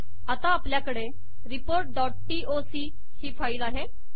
आता अापल्याकडे report dot TOC ही फाईल आहे